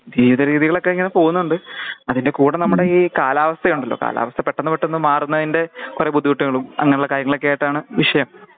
ജീവിത രീതികളൊക്കെ ഇങ്ങനെ പോവുന്നുണ്ട് അതിന്റെ കൂടെ നമ്മടെ ഈ കാലാവസ്ഥയുണ്ടാലോ കാലാവസ്ഥ പെട്ടന്ന് പെട്ടന്ന് മാറുന്നതിന്റെ ഒരു ബുദ്ധിമുട്ടുകളും അങ്ങനെയുള്ള കാര്യങ്ങളാക്കായിട്ടാണ് വിഷയം